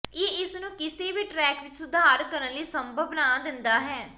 ਇਹ ਇਸ ਨੂੰ ਕਿਸੇ ਵੀ ਟਰੈਕ ਵਿੱਚ ਸੁਧਾਰ ਕਰਨ ਲਈ ਸੰਭਵ ਬਣਾ ਦਿੰਦਾ ਹੈ